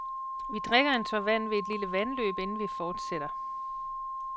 Vi drikker en tår vand ved et lille vandløb, inden vi fortsætter.